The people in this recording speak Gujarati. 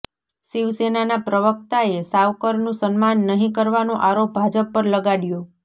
શિવસેનાના પ્રવક્તાએ સાવરકરનું સન્માન નહીં કરવાનો આરોપ ભાજપ પર લગાડયો